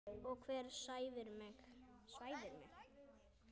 Og hver svæfir mig?